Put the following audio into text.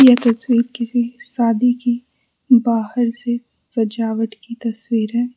यह तस्वीर किसी शादी की बाहर से सजावट की तस्वीर है।